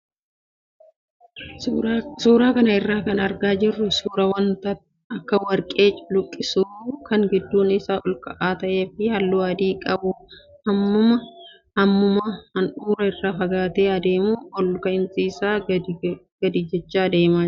Suuraa kana irraa kan argaa jirru suuraa wanta akka warqee calaqqisu kan gidduun isaa ok ka'aa ta'ee fi halluu adii qabu hammuma handhuura irraa fagaataa adeemu ol ka'insi isaa gadi jechaa adeemaa jira.